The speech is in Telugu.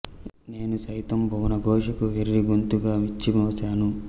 నేనుసైతం భువన ఘోషకు వెర్రి గొంతుక విచ్చి మ్రొ శాను